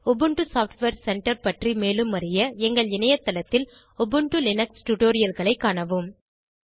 Ubuntu software centre பற்றி மேலும அறிய எங்கள் இணையதளத்தில் உபுண்டு லினக்ஸ் டுடோரியல்களை காணவும்